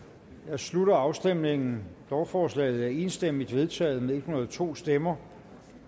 slutter afstemningen lovforslaget er enstemmigt vedtaget med en hundrede og to stemmer